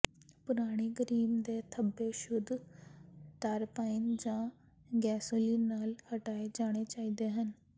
ਪੁਰਾਣੀ ਗਰੀਸ ਦੇ ਧੱਬੇ ਸ਼ੁੱਧ ਤਾਰਪਾਈਨ ਜਾਂ ਗੈਸੋਲੀਨ ਨਾਲ ਹਟਾਏ ਜਾਣੇ ਚਾਹੀਦੇ ਹਨ